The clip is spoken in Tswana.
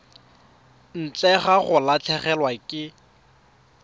ntle ga go latlhegelwa ke